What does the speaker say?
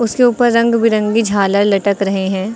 उसके ऊपर रंग बिरंगी झालर लटक रहे हैं।